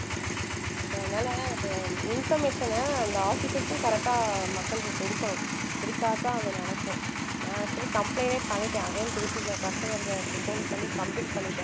so அதனால நம்ம information அ அந்த officers க்கும் correct ஆ மக்களுக்கு கொடுக்கணும் குடுத்தாத்தான் அது நடக்கும் நான் actually complaint ஏ பண்ணிட்டேன் again திருப்பி க~ customer care க்கு phone பண்ணி complaint பண்ணிட்டேன்